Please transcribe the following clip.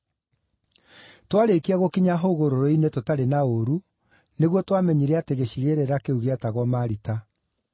Twaarĩkia gũkinya hũgũrũrũ-inĩ tũtarĩ na ũũru, nĩguo twamenyire atĩ gĩcigĩrĩra kĩu gĩetagwo Malita.